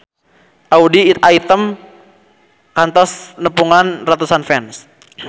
Audy Item kantos nepungan ratusan fans